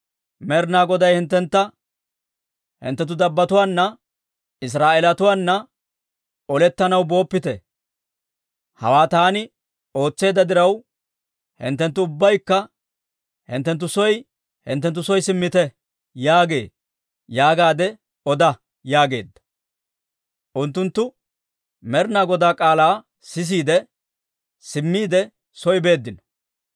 ‹Med'inaa Goday hinttentta, «Hinttenttu dabbotuwaana, Israa'eelatuwaana olettanaw booppite. Hawaa taani ootseedda diraw, hinttenttu ubbaykka hinttenttu soo hinttenttu soo simmite» yaagee› yaagaadde oda» yaageedda. Unttunttu Med'inaa Godaa k'aalaa sisiide, simmiide soo beeddino.